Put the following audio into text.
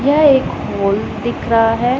यह एक हॉल दिख रहा है।